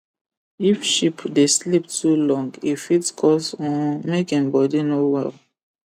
if sheep dey sleep to long e fit cause um make him body no well